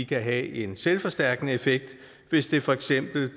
kan have en selvforstærkende effekt hvis de for eksempel